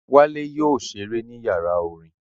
Wálé yóò ṣeré ní yàrá orin